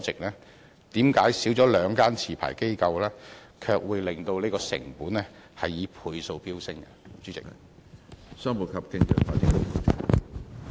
為甚麼減少了兩間持牌機構，卻會令成本以倍數飆升？